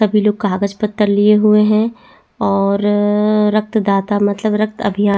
सभी लोक कागज पत्र लिए हुए है और रक्तदाता मतलब रक्त अभियान --